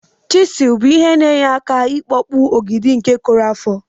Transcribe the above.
chizul bu ihe na enye aka ikpọpụ ọgidi nke korụ afọ.